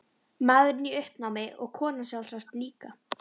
Maðurinn í uppnámi og konan sjálfsagt líka.